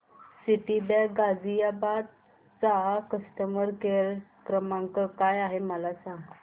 Citibank Ghaziabad चा customer care क्रमांक काय आहे मला सांग